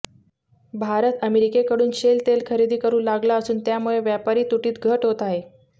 भारत अमेरिकेकडून शेल तेलखरेदी करू लागला असून त्यामुळे व्यापारी तूटीत घट होत आहे